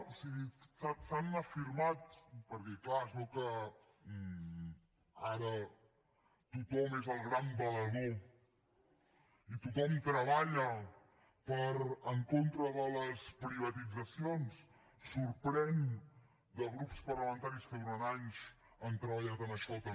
o sigui s’han afirmat perquè és clar es veu que ara tothom és el gran valedor i tothom treballa en contra de les privatitzacions sorprèn de grups parlamentaris que durant anys han treballat en això també